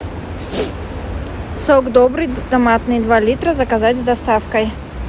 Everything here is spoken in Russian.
сок добрый томатный два литра заказать с доставкой